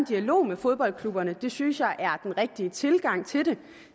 dialog med fodboldklubberne det synes jeg er den rigtige tilgang til det